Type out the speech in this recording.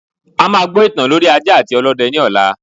A máa gbọ ìtàn lorí ajá àti ọlọ́dẹ lọla